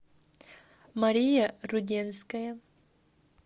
мария руденская